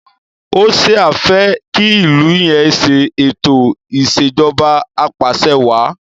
Hoṣea fe ki ilú yén se eto Ìṣèjọba Apàṣẹwàá